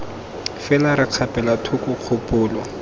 fela re kgapela thoko kgopolo